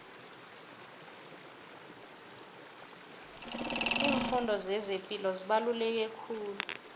iimfundo zezepilo zibaluleke kakhulu